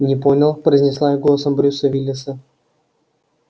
не понял произнесла я голосом брюса виллиса